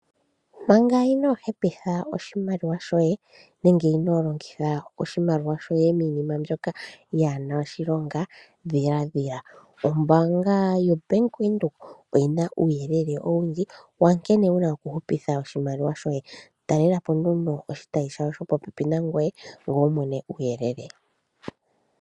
Manga inoo hepitha oshimaliwa shoye, nenge inoo longitha oshimaliwa shoye miinima mbyoka yaa na oshilonga, dhiladhila. Ombaanga yoBank Windhoek oyi na uuyelele owundji wankene wu na okuhupitha oshimaliwa shoye. Talela po nduno oshitayi shawo shopopepi nangoye, ngoye wu mone uuyelele.